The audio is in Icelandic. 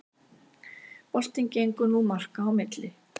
Boltinn gengur nú marka á milli